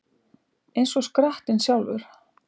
Eins og skrattinn sjálfur